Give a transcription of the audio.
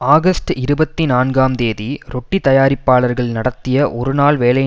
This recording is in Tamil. ஆகஸ்ட் இருபத்தி நான்காம் தேதி ரொட்டி தயாரிப்பாளர்கள் நடத்திய ஒரு நாள் வேலை